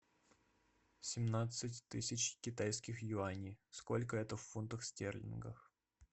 семнадцать тысяч китайских юаней сколько это в фунтах стерлингов